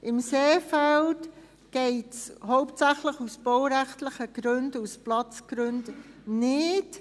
im Seefeld geht es hauptsächlich aus baurechtlichen Gründen und aus Platzgründen nicht.